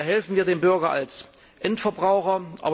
Hier helfen wir dem Bürger als Endverbraucher.